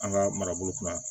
An ka marabolo kɔnɔ